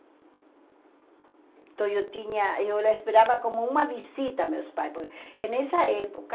Então eu tinha, eu esperava como uma visita meus pais, porque nessa época